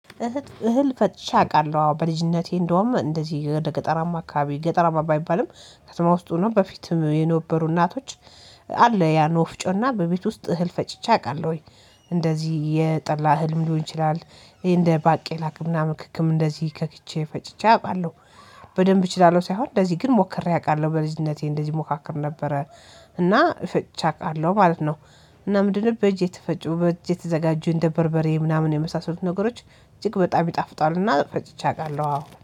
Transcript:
እህል ፈጭቼ አውቃለሁ አዎ በልጅነቴ እንደውም እንደዚህ ወደ ገጠራማ አካባቢ ገጠራማ ባይባልም ከተማ ውስጥ ሆኖ በፊትም የነበሩ እናቶች አለ ያን ወፍጮ እና በቤት ውስጥ እህል ፈጭቼ አውቃለሁኝ። እንደዚህ የጠላ እህልም ሊሆን ይችላል ይሄ እንደ ባቄላ ቅምናምን ክክም እንደዚህ ከክቼ ፈጭቼ አውቃለሁ። በደንብ እችላለሁ ሳይሆን እንደዚህ ግን ሞክሬ አውቃለሁ በልጅነቴ እንደዚህ ሞካክር ነበረ እና ፍጭቼ አውቃለሁ ማለት ነው። እና ምንድነው? በእጅ የተፈጩ በእጅ የተዘጋጁ እንደ በርበሬ ምናምን የመሳሰሉት ነገሮች እጅግ በጣም ይጣፍጣሉና ፈጭቼ አውቃለሁ አዎ